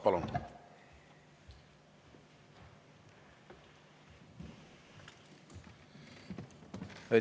Palun!